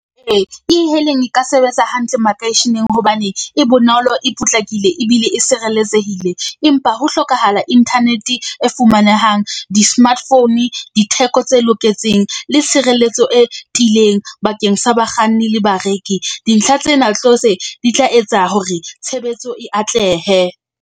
Ee, E-hailing e ka sebetsa hantle makeisheneng hobane e bonolo, e potlakile ebile e sireletsehile. Empa ho hlokahala internet-e e fumanehang, di-smart phone, ditheko tse loketseng le tshireletso e tiileng bakeng sa bakganni le bareki. Dintlha tsena di tla etsa hore tshebetso e atlehe.